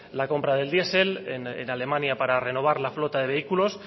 la compra del diesel en alemania para renovar la flota de vehículos